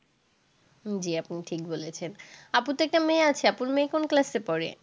জি আপনি ঠিক বলেছেন। আপুর তো একটা মেয়ে আছে, আপুর মেয়ে কোন class পড়ে?